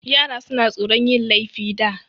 Yara suna tsoron yin laifi da.